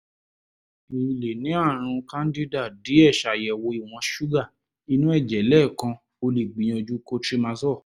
i lè ní ààrùn candida díẹ̀ ṣàyẹ̀wò ìwọ̀n ṣúgà inú ẹ̀jẹ̀ lẹ́ẹ̀kan o lè gbìyànjú cotrimazole